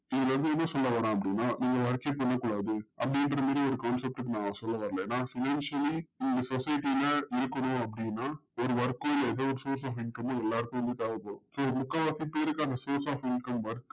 இதுல இருந்து என்ன சொல்லவறோம் அப்டின்னா பண்ணக்கூடாது concept ல னா சொல்ல வரல நா financially இந்த society ல இருக்கணும் அப்டின்னா work கோ இல்ல face of income மோ எல்லாருக்கும் தேவைப்படும் so முக்கால்வாசி பேர்க்கு அந்த face of income